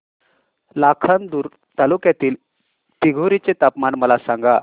लाखांदूर तालुक्यातील दिघोरी चे तापमान मला सांगा